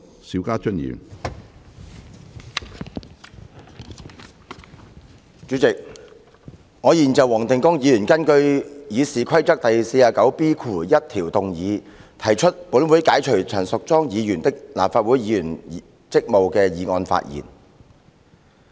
主席，我現就黃定光議員根據《議事規則》第 49B1 條動議本會解除陳淑莊議員的立法會議員職務的議案發言。